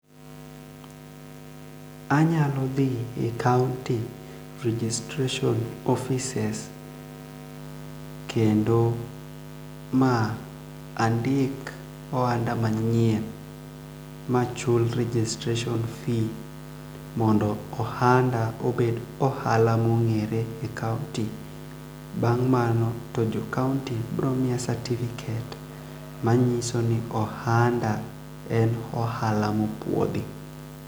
Anyalo dhi e kaunty registration offices kendo ma andik ohanda manyien ma chul registration fee mondo ohanda obed ohala mongere e kaunti bang' mano to jo kaunti bromiya certificate manyiso ni ohanda en ohala mopuodhi.